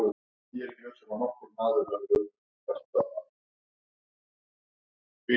Þú ert Þjóðverjinn Thomas Lang sagði maðurinn og blaðaði í einhverjum skjölum.